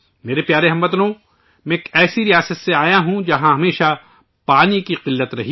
ساتھیو ، میں ایک ایسی ریاست سے آیا ہوں ، جہاں ہمیشہ پانی کی قلت رہی ہے